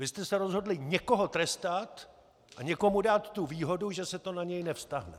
Vy jste se rozhodli někoho trestat a někomu dát tu výhodu, že se to na něj nevztahuje.